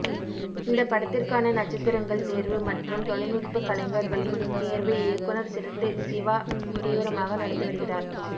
இந்தப் படத்திற்கான நட்சத்திரங்கள் தேர்வு மற்றும் தொழில்நுட்ப கலைஞர்களின் தேர்வு இயக்குனர் சிறுத்தை சிவா தீவிரமாக நடத்தி வருகிறார்